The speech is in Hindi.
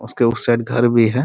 उसके उस साइड घर भी है।